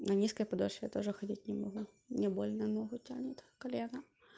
на низкой подошве я тоже ходить не могу не больно ногу тянет колено